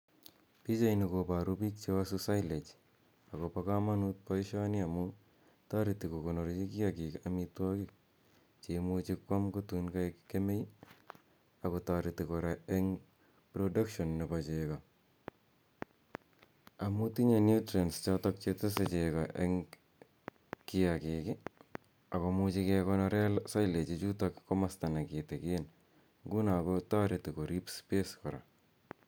Pichaini koboru pik chewasu silage. Akobo komonut boishoni amun toreti kokonorchi kiagik amitwagik cheimuchi koam tun kokaek kemei. Ako toreti kora eng production nebo cheko amu tinyei nutrients chotok chetesei cheko eng kiagik akoimuchi kekonore sillage ichu komosta nekitigin, nguno kotoreti korip space kora.